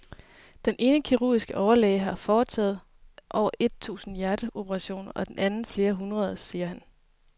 Den ene kirurgiske overlæge har foretaget over et tusind hjerteoperationer og den anden flere hundrede, siger han.